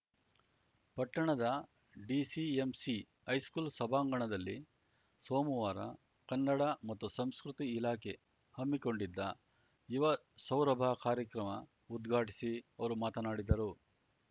ಪಟ್ಟಣದ DCMC high school ಸಭಾಂಗಣದಲ್ಲಿ ಸೋಮವಾರ ಕನ್ನಡ ಮತ್ತು ಸಂಸ್ಕೃತಿ ಇಲಾಖೆ ಹಮ್ಮಿಕೊಂಡಿದ್ದ ಯುವ ಸೌರಭ ಕಾರ್ಯಕ್ರಮ ಉದ್ಘಾಟಿಸಿ ಅವರು ಮಾತನಾಡಿದರು